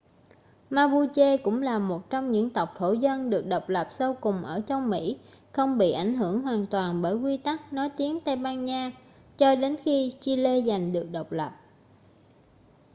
mapuche cũng là một trong những tộc thổ dân được độc lập sau cùng ở châu mỹ không bị ảnh hưởng hoàn toàn bởi quy tắc nói tiếng tây ban nha cho đến khi chile giành được độc lập